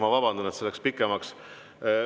Ma vabandan, et see läks pikemaks.